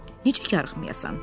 necə karxmayasan?